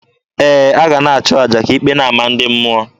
Ee, a ga a na-achụ aja ka ikpe na-ama ndị mmụọ.